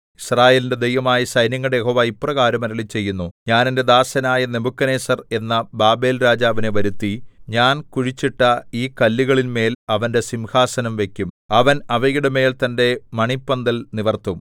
യിസ്രായേലിന്റെ ദൈവമായ സൈന്യങ്ങളുടെ യഹോവ ഇപ്രകാരം അരുളിച്ചെയ്യുന്നു ഞാൻ എന്റെ ദാസനായ നെബൂഖദ്നേസർ എന്ന ബാബേൽരാജാവിനെ വരുത്തി ഞാൻ കുഴിച്ചിട്ട ഈ കല്ലുകളിന്മേൽ അവന്റെ സിംഹാസനം വയ്ക്കും അവൻ അവയുടെമേൽ തന്റെ മണിപ്പന്തൽ നിവർത്തും